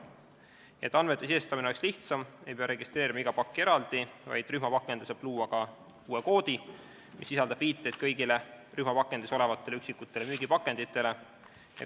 Et andmete sisestamine oleks lihtsam, ei pea registreerima igat pakki eraldi, ka rühmapakendile saab luua uue koodi, mis sisaldab viiteid kõigile rühmapakendis olevatele üksikutele müügipakenditele.